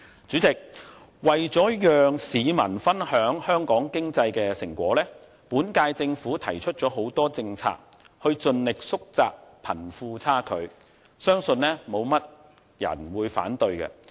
主席，為了讓市民分享香港經濟的成果，現屆政府提出了很多政策，以盡力縮窄貧富差距，相信沒有多少人會反對。